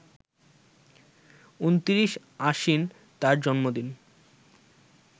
২৯ আশ্বিন তার জন্মদিন